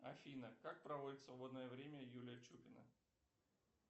афина как проводит свободное время юлия чупина